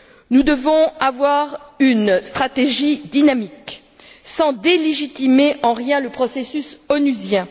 Nous devons avoir une stratégie dynamique, sans délégitimer en rien le processus onusien.